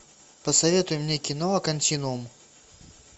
посоветуй мне кино континуум